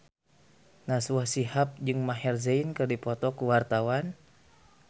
Najwa Shihab jeung Maher Zein keur dipoto ku wartawan